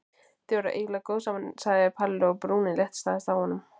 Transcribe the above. Þið væruð eiginlega góð saman sagði Palli og brúnin léttist aðeins á honum.